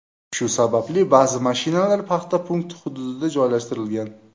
Shu sababli ba’zi mashinalar paxta punkti hududiga joylashtirilgan.